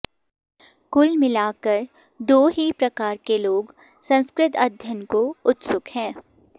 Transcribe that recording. कुल मिलाकर दो ही प्रकार के लोग संस्कृत अध्ययन को उत्सुक है